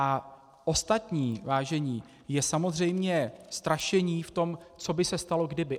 A ostatní, vážení, je samozřejmě strašení v tom, co by se stalo kdyby.